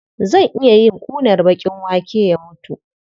Zai iya yin ƙunar baƙin wake ya mutu.